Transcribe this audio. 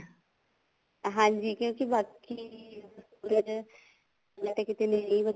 ਹਾਂਜੀ ਕਿਉਂਕਿ ਬਾਕੀ ਜਾਣੇ ਮੈਂ ਤਾਂ ਕੀਤੇ ਨੇੜੇ ਹੀ